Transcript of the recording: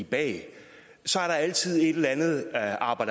bag så er der altid et eller andet aber